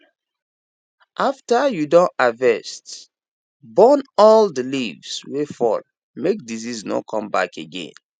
after you don harvest burn all the leaves wey fall make disease no come back again